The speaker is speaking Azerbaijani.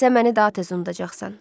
Sən məni daha tez unudacaqsan.